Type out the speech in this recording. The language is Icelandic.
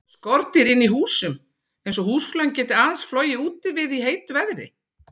Skordýr inni í húsum, eins og húsflugan, geta aðeins flogið úti við í heitu veðri.